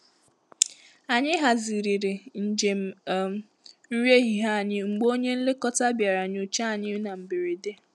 Ànyị hazigharịrị njem um nri ehihie anyị mgbe onye nlekọta bịara nyochaa anyi n'mberede.